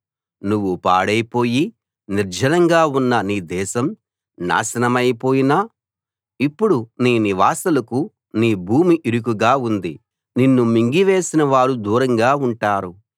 నువ్వు పాడైపోయి నిర్జనంగా ఉన్నా నీ దేశం నాశనమైపోయినా ఇప్పుడు నీ నివాసులకు నీ భూమి ఇరుకుగా ఉంది నిన్ను మింగివేసినవారు దూరంగా ఉంటారు